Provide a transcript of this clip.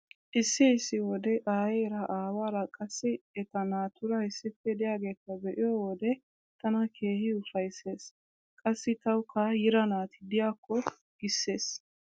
Issi issi wode aayeera aawaara qassi eta naatuura issippe diyageeta be"iyo wode tana keehi ufayssees. Qassi tawukka yiira naati diyakko giissees.